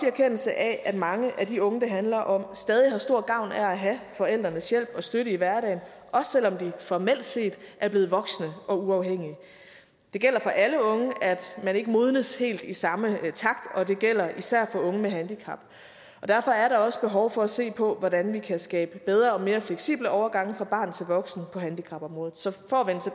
erkendelse af at mange af de unge det handler om stadig har stor gavn af at have forældrenes hjælp og støtte i hverdagen også selv om de formelt set er blevet voksne og uafhængige det gælder for alle unge at man ikke modnes helt i samme takt og det gælder især for unge med handicap og derfor er der også behov for at se på hvordan vi kan skabe bedre og mere fleksible overgange fra barn til voksen på handicapområdet så for